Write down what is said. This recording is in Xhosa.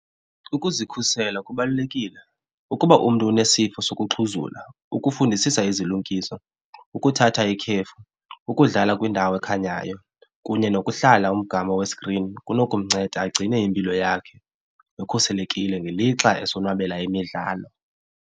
Ukuzikhusela kubalulekile ukuba umntu unesifo sokuxhuzula ukufundisisa izilungiso, ukuthatha ikhefu, ukudlala kwindawo ekhanyayo kunye nokuhlala umgama we-screen kunokumnceda agcine impilo yakhe ekhuselekile ngelixa esonwabela imidlalo.